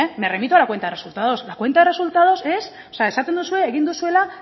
me remito a la cuenta de resultados la cuenta de resultados es esaten duzue egin duzuela